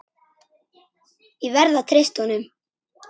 Ég verð að treysta honum.